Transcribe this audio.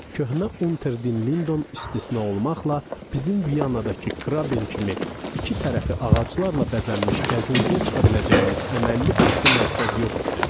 Köhnə Unter den Lindon istisna olmaqla, bizim Viyandakı Kraben kimi iki tərəfi ağaclarla bəzənmiş gəzintiyə çıxa biləcəyimiz əməlli başlı mərkəz yox idi.